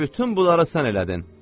Bütün buları sən elədin.